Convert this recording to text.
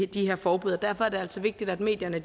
de her forbud og derfor er det altså vigtigt at medierne